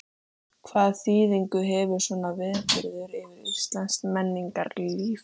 Hvaða þýðingu hefur svona viðburður fyrir íslenskt menningarlíf?